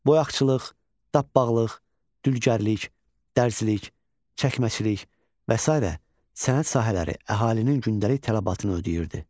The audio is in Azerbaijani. Boyaqçılıq, dabbağlıq, dülgərlik, dərzilik, çəkməçilik və sairə sənət sahələri əhalinin gündəlik tələbatını ödəyirdi.